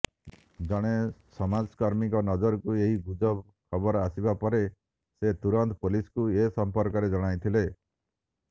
ଜଣେ ସମାଜକର୍ମୀଙ୍କ ନଜରକୁ ଏହି ଗୁଜବ ଖବର ଆସିବା ପରେ ସେ ତୁରନ୍ତ ପୋଲିସକୁ ଏସମ୍ପର୍କରେ ଜଣାଇଥିଲେ